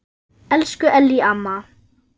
Elsku Ellý amma.